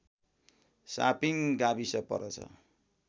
shopping गाविस पर्दछन्